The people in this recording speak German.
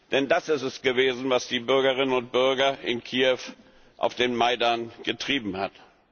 Denn das ist es gewesen, was die Bürgerinnen und Bürger in Kiew auf den Majdan getrieben hat.